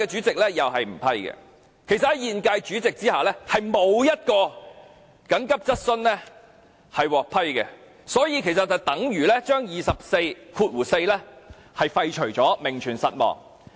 其實，在現屆主席下，並沒有一項急切質詢獲批，這等於把《議事規則》第244條廢除，名存實亡。